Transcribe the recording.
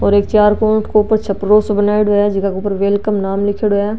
और एक चार कोट के ऊपर एक छपरो सा बनाईडा है जीका ऊपर वेलकम नाम लिखेड़ो है।